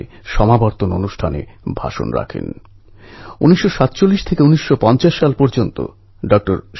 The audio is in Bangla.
এই পুণ্যযাত্রা শিক্ষা সংস্কৃতি আর শ্রদ্ধার ত্রিবেণী সঙ্গম